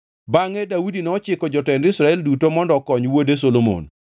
Bangʼe Daudi nochiko jotend Israel duto mondo okony wuode Solomon.